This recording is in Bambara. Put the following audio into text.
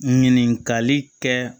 Ɲininkali kɛ